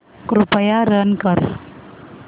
कृपया रन कर